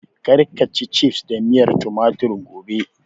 Kar ka ci cifs da miyar tumatir (Ketchup) gobe!